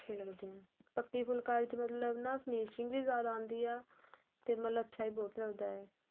ਅੱਛੇ ਲੱਗਦੇ ਏ ਪੱਕੀ ਫੁਲਕਾਰੀ ਵਿੱਚ ਮਤਲਬ ਨਾ finishing ਵੀ ਜਿਆਦਾ ਆਦੀ ਏ ਮਤਲਬ ਅੱਛਾ ਬਹੁਤ ਲੱਗਦਾ ਏ